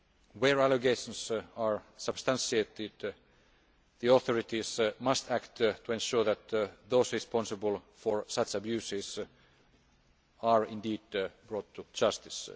Where allegations are substantiated, the authorities must act to ensure that those responsible for such abuses are indeed brought to justice.